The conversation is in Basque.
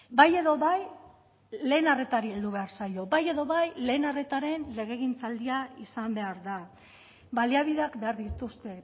bai edo bai lehen arretari heldu behar zaio bai edo bai lehen arretaren legegintzaldia izan behar da baliabideak behar dituzte